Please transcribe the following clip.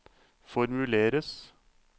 formuleres